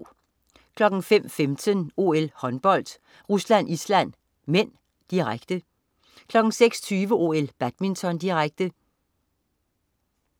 05.15 OL: Håndbold. Rusland-Island (m), direkte 06.20 OL: Badminton, direkte